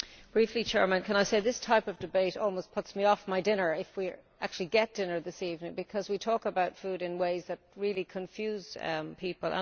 Briefly Chairman, can I say that this type of debate almost puts me off my dinner if we actually get dinner this evening because we talk about food in ways that really confuse people.